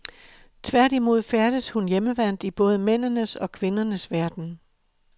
Tværtimod færdes hun hjemmevant i både mændenes og kvindernes verden.